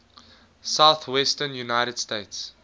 southwestern united states